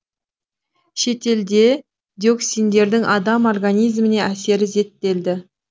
шетелде диоксиндердің адам организміне әсері зерттелді